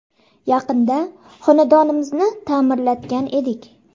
Yaqinda xonadonimizni ta’mirlatgan edik.